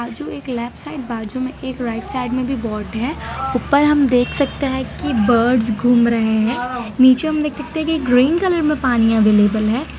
जो एक left side बाजू में एक राइट साइड में भी बोड है ऊपर हम देख सकते हैं कि बर्ड्स घूम रहे हैं नीचे हम देख सकते है की ग्रीन कलर में पानी अवेलेबल है।